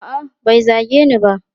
A'a, bai zage ni ba.